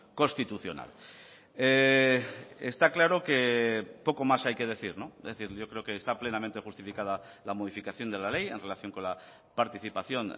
constitucional está claro que poco más hay que decir es decir yo creo que está plenamente justificada la modificación de la ley en relación con la participación